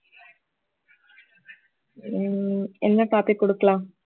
உம் என்ன topic கொடுக்கலாம்